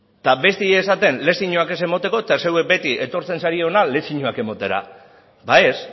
eta besteei esaten lezioak ez emateko eta zeuek beti etortzen zarete hona lezioak ematera ba ez